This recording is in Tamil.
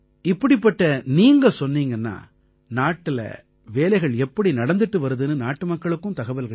இப்படிப்பட்ட நீங்க சொன்னீங்கன்னா நாட்டுல வேலைகள் எப்படி நடந்திட்டு வருதுன்னு நாட்டுமக்களுக்கும் தகவல்கள் கிடைக்கும்